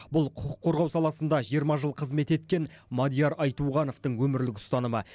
бұл құқық қорғау саласында жиырма жыл қызмет еткен мадияр айтуғановтың өмірлік ұстанымы